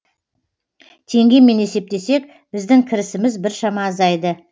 теңгемен есептесек біздің кірісіміз біршама азайды